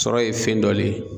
Sɔrɔ ye fɛn dɔ le ye.